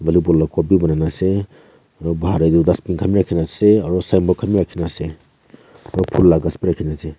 Volleyball la court bhi banaina ase aro bahar dae tuh dustbin khan bhi rakhina ase aro signboard khan bhi rakhina ase aro phool la ghas bhi rakhina ase.